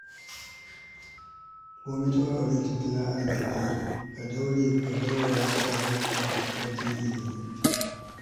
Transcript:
Komai taɓarɓarewar tattalin arziki, ka daure ka baiwa yaranka ingantaccen ilimi.